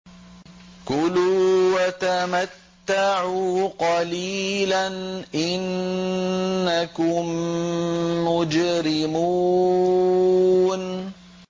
كُلُوا وَتَمَتَّعُوا قَلِيلًا إِنَّكُم مُّجْرِمُونَ